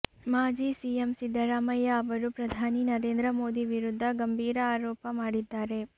ಮಾಜಿ ಸಿಎಂ ಸಿದ್ದರಾಮಯ್ಯ ಅವರು ಪ್ರಧಾನಿ ನರೇಂದ್ರ ಮೋದಿ ವಿರುದ್ಧ ಗಂಭೀರ ಆರೋಪ ಮಾಡಿದ್ದಾರೆ